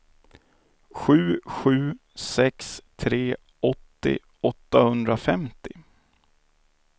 sju sju sex tre åttio åttahundrafemtio